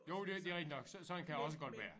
Jo det det rigtigt nok sådan kan det også godt være